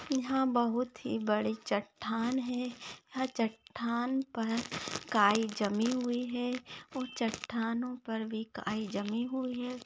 यहा बहुत ही बड़ी चट्टान है यह चट्टान पर गाय जमी हुई है उन चट्टानों पर भी गाय जमी हुई है।